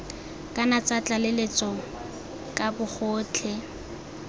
kana tsa tlaleletso ka bogotlhe